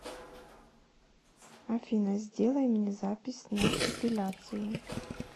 афина сделай мне запись на эпиляцию